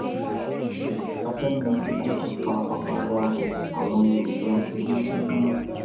a fẹẹ mọ ikú tó pa ọmọ wa ọ àwọn yoruba kọgí bínú